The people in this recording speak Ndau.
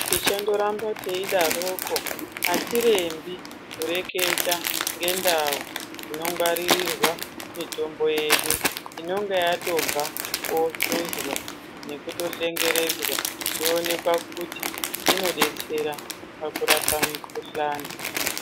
Tichandoramba teidaroko, atirembi kureketa ngendau inongwaririrwa mitombo yedu inonga yatobva koohluzwa, nekutohlengeredzwa, yoonekwa kuti, inodetsera pakurapa mikhuhlani.